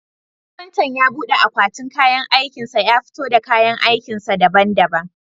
Kafintan ya bude akwatin kayan aikin sa ya fito da kayan aikin sa daban daban